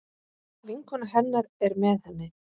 Vinkona hennar er með henni.